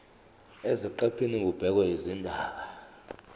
eziqephini kubhekwe izindaba